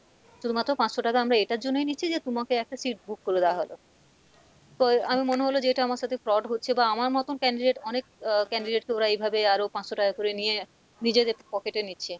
শুধুমাত্র পাঁচশো টাকা আমরা এটার জন্যই নিচ্ছি যে তুমাকে একটা seat book করে দেওয়া হলো, তো আমার মনে হলো যে এটা আমার সাথে fraud হচ্ছে বা আমার মতন candidate অনেক আহ candidate কে ওরা এইভাবে আরও পাঁচশো টাকা করে নিয়ে নিজেদের pocket এ নিচ্ছে,